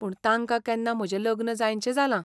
पूण तांकां केन्ना म्हजें लग्न जायनशें जालां.